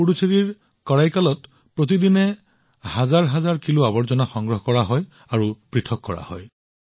আজি পুডুচেৰীৰ কৰাইকালত প্ৰতিদিনে হাজাৰ হাজাৰ কিলো আৱৰ্জনা সংগ্ৰহ কৰা হয় আৰু পৃথক কৰা হয়